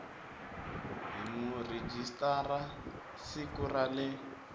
hi murhijisitara siku ra le